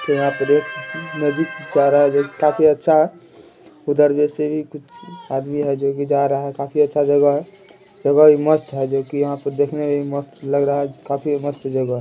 काफी अच्छा उधर जैसे ही कुछ आदमी है जोकि जा रहा है काफी अच्छा जगह है मस्त है देखने में भी मस्त लग रहा है काफी मस्त जगह है।